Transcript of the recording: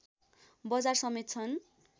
बजार समेत छन्